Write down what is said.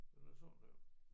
Den er sådan der